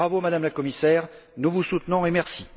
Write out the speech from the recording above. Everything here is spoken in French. Bravo Madame la Commissaire, nous vous soutenons et merci.